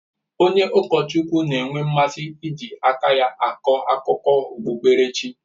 Onye ụkọchukwu na-enwe mmasị iji aka ya akọ akụkọ okpukperechi.